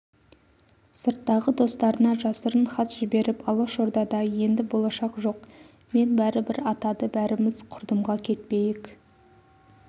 сырттағы достарына жасырын хат жіберіп алашордада енді болашақ жоқ мен бәрібір атады бәріміз құрдымға кетпейік